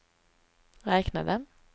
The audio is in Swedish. räknade